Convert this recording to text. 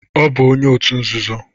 Ọ bụ onye otu nzuzo